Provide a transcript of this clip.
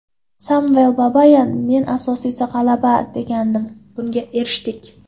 Samvel Babayan: Men asosiysi g‘alaba degandim, bunga erishdik.